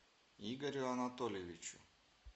игорю анатольевичу